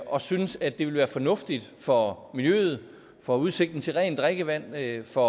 og synes at det ville være fornuftigt for miljøet for udsigten til rent drikkevand for